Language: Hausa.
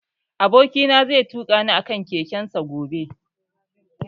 Aboki na zai tuƙa ni a kan keken sa gobe